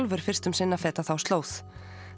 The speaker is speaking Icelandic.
fyrst um sinn að feta þá slóð